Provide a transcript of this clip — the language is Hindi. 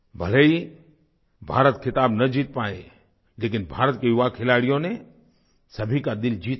भले ही भारत ख़िताब न जीत पाया लेकिन भारत के युवा खिलाड़ियों ने सभी का दिल जीत लिया